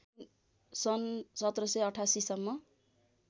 सन १७८८ सम्म